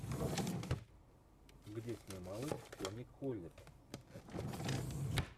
где снималась тони коллетт